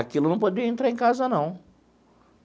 Aquilo não podia entrar em casa, não.